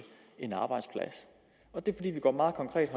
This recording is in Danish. en arbejdsplads og det er fordi vi går meget konkret